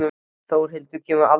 Þórhildur kemur mér aldrei á óvart.